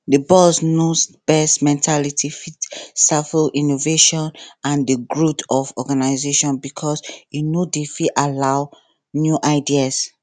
di boss knows best mentality fit stifle innovation and di growth of organization because e no fit allow new ideas